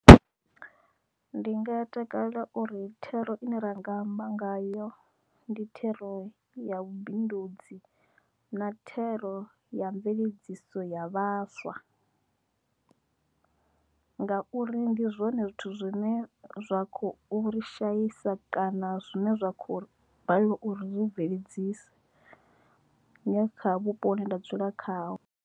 Ndi nga takalela uri thero ine ranga amba ngayo ndi thero ya vhubindudzi na thero ya mveledziso ya vhaswa. Nga uri ndi zwone zwithu zwine zwa khou ri shaisa kana zwine zwa kho ḽo balelwa uri ri zwi bveledzisa kha vhupo hune nda dzula khaho.